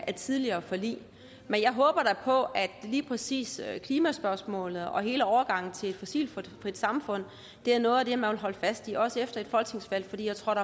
af tidligere forlig men jeg håber da på at lige præcis klimaspørgsmålet og hele overgangen til et fossilfrit samfund er noget af det man vil holde fast i også efter et folketingsvalg for jeg tror